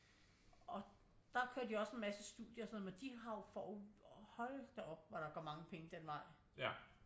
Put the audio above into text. Og der kører de også en masse studier og sådan noget men din har jo får jo hold da op hvor der går mange penge den vej